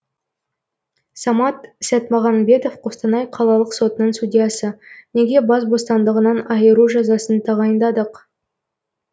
самат сәтмағанбетов қостанай қалалық сотының судьясы неге бас бостандығынан айыру жазасын тағайындадық